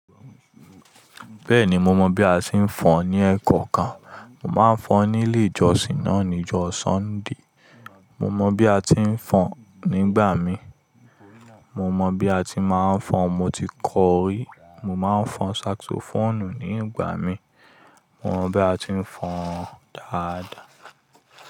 Bẹ́ẹ̀ni mo mọ bí a ti ń fọ́n ní ẹ̀ekoọ́kan. Mo máa ń fọ́n nílé ìjọsìn náà ní ìjọ́ Sunday. Mo mọ bí a ti ń fọ́n nígbà mii, mo mọ bí a ti máa ń fọ́n. Mo ti kọ rí. Mo má ń fọn saxophone ní igbà mii. Mo mọ bí a ti ń fọ́n dáadáa.